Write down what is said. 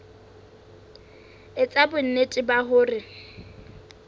e etsa bonnete ba hore